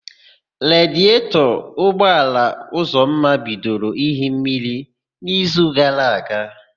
Radietọ ụgbọala Ụzọma bidoro íhi mmiri n'ízù gara aga.